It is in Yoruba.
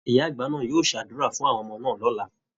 Ìyá-àgbà náà yóò ṣàdúrà fún àwọn ọmọ náà lọ̀la